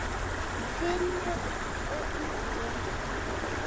Finnur og Ingi.